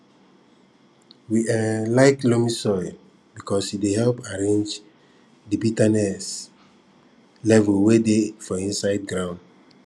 we um like loamy soil because e dey help arrange di betterness level way dey for inside ground